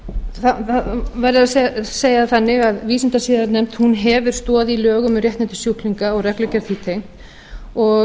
verður að segja það þannig að vísindasiðanefnd hefur stoð í lögum um réttindi sjúklinga og reglugerð því tengt og